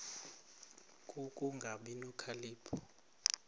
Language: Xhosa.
ku kungabi nokhalipho